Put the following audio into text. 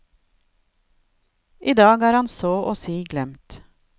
I dag er han så å si glemt.